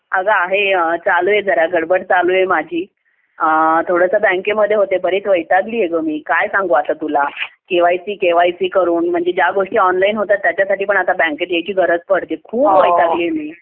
अग आहे अगं थोडी गडबड चालू आहे माझी अ.. थोडासा बँकेमध्ये होते बरेच वैतागली आहे का मी काय सांगू आता तुला केवायसी केवायसी करून म्हणजे गोष्टी ऑनलाइन होतात त्याला आता बँकेत यायची गरज पडते खूप वैतागली आता मी